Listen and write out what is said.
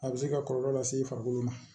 A bɛ se ka kɔlɔlɔ lase i farikolo ma